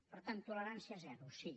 per tant tolerància zero sí